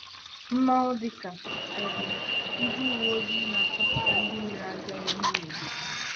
Mmanwụ dịka um ndị uweojii na-achọpụta ndị mere ajọ ihe n'obodo.